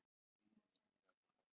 Estel, hvernig verður veðrið á morgun?